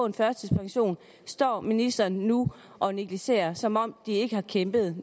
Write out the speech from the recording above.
en førtidspension står ministeren nu og negligerer som om de ikke har kæmpet